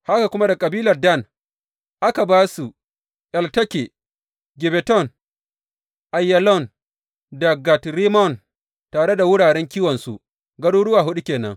Haka kuma daga kabilar Dan, aka ba su, Elteke, Gibbeton, Aiyalon da Gat Rimmon, tare da wuraren kiwonsu, garuruwa huɗu ke nan.